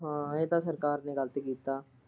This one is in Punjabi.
ਹਮ ਇਹ ਤਾਂ ਸਰਕਾਰ ਨੇ ਗਲਤ ਕੀਤਾ।